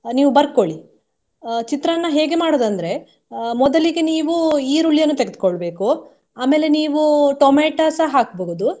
ಅಹ್ ನೀವು ಬರ್ಕೊಳ್ಳಿ. ಅಹ್ ಚಿತ್ರಾನ್ನ ಹೇಗೆ ಮಾಡುದು ಅಂದ್ರೆ ಅಹ್ ಮೊದಲಿಗೆ ನೀವು ಈರುಳ್ಳಿಯನ್ನು ತೆಗೆದುಕೊಳ್ಬೇಕು ಆಮೇಲೆ ನೀವು ಟೊಮೆಟೊ ಸಹ ಹಾಕ್ಬಹುದು.